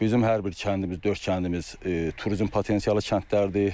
Bizim hər bir kəndimiz, dörd kəndimiz turizm potensialı kəndlərdir.